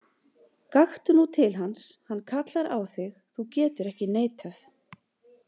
Gakktu nú til hans, hann kallar á þig, þú getur ekki neitað.